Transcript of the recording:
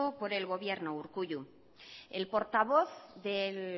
por el gobierno urkullu el portavoz del